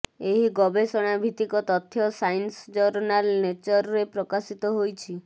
ଏହି ଗବେଷଣା ଭିତ୍ତିକ ତଥ୍ୟ ସାଇନ୍ସ ଜର୍ଣ୍ଣାଲ୍ ନେଚର୍ରେ ପ୍ରକାଶିତ ହୋଇଛି